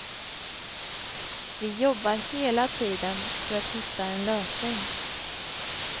Vi jobbar hela tiden för att hitta en lösning.